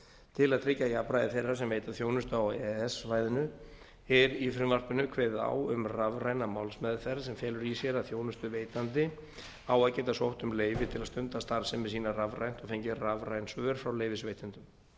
til að tryggja jafnræði þeirra sem veita þjónustu á e e s svæðinu er í frumvarpinu kveðið á um rafræna málsmeðferð sem felur í sér að þjónustuveitandi á að geta sótt um leyfi til að stunda starfsemi sína rafrænt og fengið rafræn svör frá leyfisveitendum